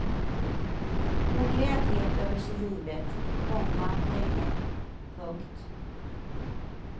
Hon grät helt översiggivet, komma länge. punkt